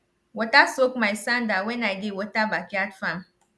water soak my sandal when i dey water backyard farm